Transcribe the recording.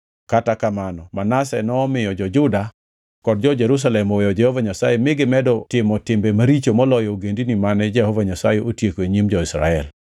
Kata kamano Manase nomiyo jo-Juda kod jo-Jerusalem oweyo Jehova Nyasaye mi gimedo timo timbe maricho moloyo ogendini mane Jehova Nyasaye otieko e nyim jo-Israel.